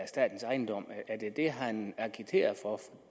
statens ejendom er det det han agiterer for